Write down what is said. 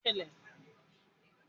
Bẹ́ẹ̀ni, mo wà ní ilẹ̀ ìtajà ńlá